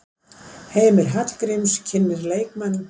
Heimir Hallgríms kynnir leikmenn.